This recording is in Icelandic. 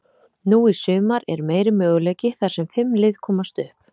Nú í sumar er meiri möguleiki, þar sem fimm lið komast upp.